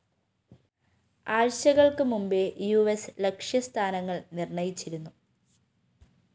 ആഴ്ചകള്‍ക്ക് മുമ്പേ യുഎസ് ലക്ഷ്യ സ്ഥാനങ്ങള്‍ നിര്‍ണ്ണയിച്ചിരുന്നു